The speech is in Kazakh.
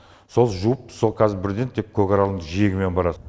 сол жуып су қазір бірден тек көкаралдың жиегімен барады